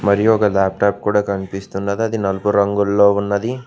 మరియు ఒక లాప్టాప్ కూడా కనిపిస్తున్నది అది నలుపు రంగుల్లో ఉన్నది.